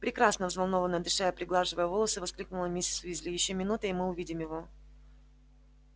прекрасно взволнованно дыша и приглаживая волосы воскликнула миссис уизли ещё минута и мы увидим его